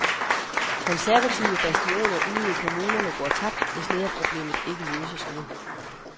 Konservative bastioner ude i kommunerne går tabt, hvis lederproblemet ikke løses nu.